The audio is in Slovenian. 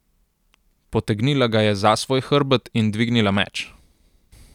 Potegnila ga je za svoj hrbet in dvignila meč.